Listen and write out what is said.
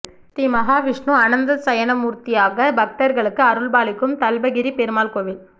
ஸ்ரீ மஹாவிஷ்ணு அனந்த சயனமூர்த்தியாக பக்தர்களுக்கு அருள்பாலிக்கும் தல்பகிரி பெருமாள் கோவில்